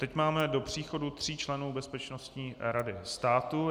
Teď máme do příchodu tří členů Bezpečnostní rady státu.